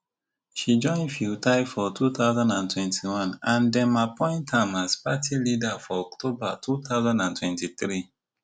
she join pheu thai for two thousand and twenty-one and dem appoint am as party leader for october two thousand and twenty-three